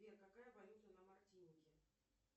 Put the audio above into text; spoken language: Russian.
сбер какая валюта на мартинике